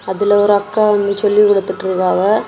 இதில ஒரு அக்கா ஒன்னு சொல்லி குடுத்துட்டு இருக்காவ.